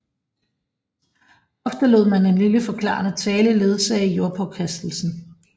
Ofte lod man en lille forklarende tale ledsage jordpåkastelsen